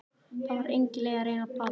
Það var engin leið að reyna að plata hana.